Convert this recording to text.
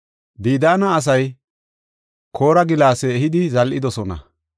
“Didaana asay koora gilaase ehidi zal7idosona.